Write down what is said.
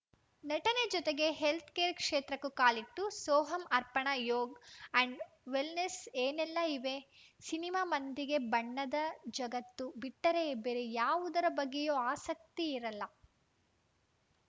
ನಟನೆ ಜತೆಗೆ health care ಕ್ಷೇತ್ರಕ್ಕೂ ಕಾಲಿಟ್ಟು ಸೋಹಮ್‌ ಅರ್ಪಣಾ ಯೋಗ ಆಂಡ್‌ ವೆಲ್‌ನೆಸ್‌ನಲ್ಲಿ ಏನೆಲ್ಲ ಇವೆ ಸಿನಿಮಾ ಮಂದಿಗೆ ಬಣ್ಣದ ಜಗತ್ತು ಬಿಟ್ಟರೆ ಬೇರೆ ಯಾವುದರ ಬಗ್ಗೆಯೂ ಆಸಕ್ತಿ ಇರಲ್ಲ